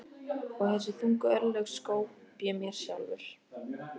Og þessi þungu örlög skóp ég mér sjálfur.